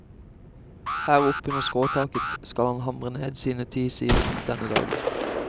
Her oppe under skråtaket skal han hamre ned sine ti sider denne dagen.